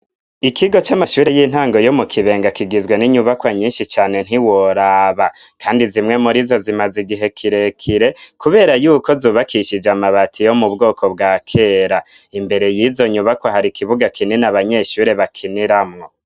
Ikigo c'amashure y'intango yo mu kibenga kigizwe n'inyubakwa nyinshi cane ntiworaba, kandi zimwe muri zo zimaze igihe kirekire, kubera yuko zubakishije amabati yo mu bwoko bwa kera, imbere yizo nyubakwa hari ikibuga kinini abanyeshuri bakiniramwo.